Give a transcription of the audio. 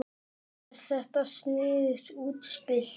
Er þetta sniðugt útspil?